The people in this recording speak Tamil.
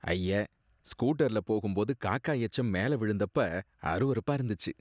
ஐய! ஸ்கூட்டர்ல போகும்போது காக்கா எச்சம் மேல விழுந்தப்ப அருவருப்பா இருந்துச்சு.